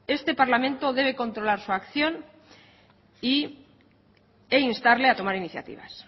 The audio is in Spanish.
este parlamento debe controlar su acción e instarle a tomar iniciativas